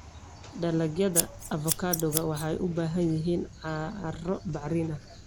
Dalagyada avocado waxay u baahan yihiin carro bacrin ah.